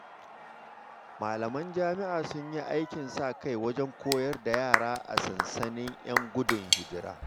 Malaman jami’a sun yi aikin sa-kai wajen koyar da yara a sansanin ‘yan gudun hijira.